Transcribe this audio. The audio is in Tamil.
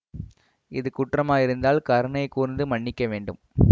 இது குற்றமாயிருந்தால் கருணை கூர்ந்து மன்னிக்க வேண்டும்